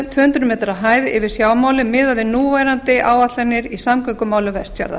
tvö hundruð metra hæð yfir sjávarmáli miðað við núverandi áætlanir í samgöngumálum vestfjarða